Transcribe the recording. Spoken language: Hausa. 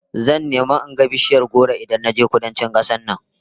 Zan nemi in ga bishiyar goro Idan naje Kudancin kasar nan